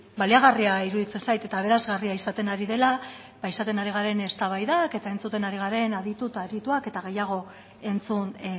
baliagarria iruditzen zait eta aberasgarria izaten ari dela ba izaten ari garen eztabaidak eta entzuten ari garen aditu eta adituak eta gehiago entzun